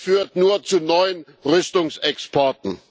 Das führt nur zu neuen Rüstungsexporten.